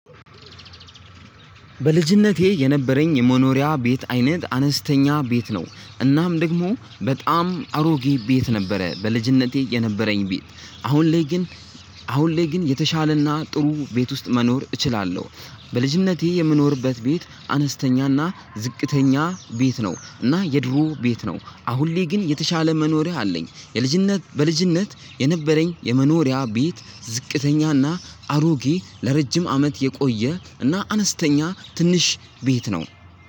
በልጅነቴ የነበረኝ የመኖሪያ ቤት አይነት አነስተኛ ቤት ነው እናም ደግሞ በጣም አሮጌ ቤት ነበረ። በልጅነቴ የነበረኝ ቤት አሁን ላይ ግን አሁን ላይ ግን የተሻለና ጥሩ ቤት ውስጥ መኖር እችላለሁ። በልጅነቴ የምኖርበት ቤት አነስተኛና ዝቅተኛ ቤት ነው። እና የድሮ ቤት ነው አሁን ላይ ግን የተሻለ መኖሪያ አለኝ። የልጅነት በልጅነት የነበረኝ የመኖሪያ ቤት ዝቅተኛና አሮጌ ለረጅም አመት የቆየ እና አነስተኛ ትንሽ ቤት ነው።